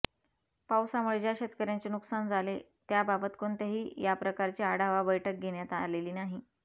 पावसामुळे ज्या शेतकऱ्यांचे नुकसान झाले त्याबाबत कोणत्याही या प्रकारची आढावा बैठक घेण्यात आलेली नाही